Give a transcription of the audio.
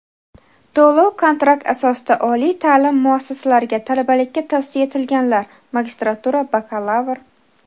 to‘lov-kontrakt asosida oliy ta’lim muassasalariga talabalikka tavsiya etilganlar (magistratura, bakalavr);.